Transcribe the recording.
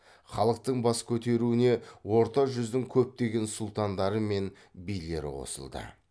халықтың бас көтеруіне орта жүздің көптеген сұлтандары мен билері қосылды